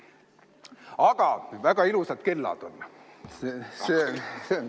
Aga väga ilusad kellad on.